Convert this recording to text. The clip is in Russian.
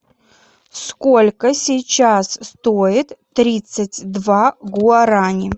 сколько сейчас стоит тридцать два гуарани